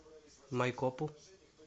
майкопу